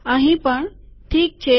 અહીંયા પણ ઠીક છે